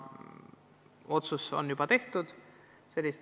See otsus on juba tehtud.